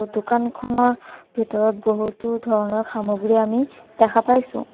দোকানখনৰ ভিতৰত বহুতো ধৰণৰ সামগ্ৰী আমি দেখা পাইছোঁ।